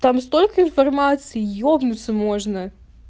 там столько информации ебнуться можно